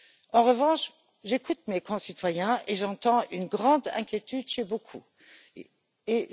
En revanche, j'écoute mes concitoyens et j'entends une grande inquiétude chez beaucoup d'entre eux.